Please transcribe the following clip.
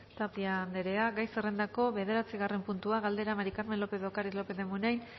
tapia anderea gai zerrendako bederatzigarren puntua galdera maría del carmen lópez de ocariz lópez de munain